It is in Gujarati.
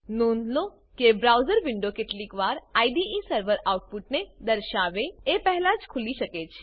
નોંધ લો કે બ્રાઉઝર વિન્ડો કેટલીક વાર આઈડીઈ સર્વર આઉટપુટને દર્શાવે એ પહેલા જ ખુલી શકે છે